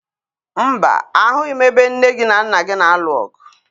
Mba, ahụghị m ebe nne gị na nna gị na-alụ ọgụ